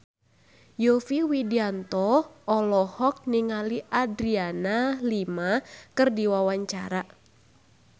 Yovie Widianto olohok ningali Adriana Lima keur diwawancara